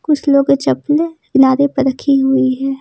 कुछ लोग की चप्प्ले किनारे पर रखी हुई है।